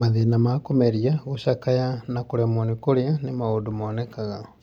Mathĩna ma kũmeria, gũcakaya, na kũremwo nĩ kũrĩa nĩ maũndũ monekaga.